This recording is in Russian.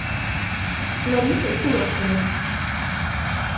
ларисой суровцевой